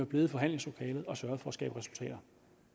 blevet i forhandlingslokalet og sørget for at skabe resultater